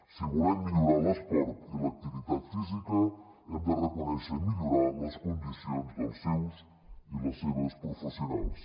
si volem millorar l’esport i l’activitat física hem de reconèixer i millorar les condicions dels seus i les seves professionals